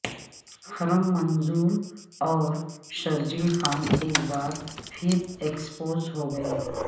خرم منظور اور شرجیل خان ایک بار پھر ایکسپوز ہوگئے